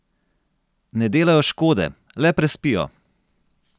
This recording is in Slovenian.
Ne delajo škode, le prespijo.